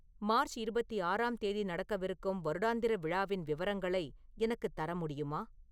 March இருபத்தி ஆறாம் தேதி நடக்கவிருக்கும் வருடாந்திர விழாவின் விவரங்களை எனக்குத் தர முடியுமா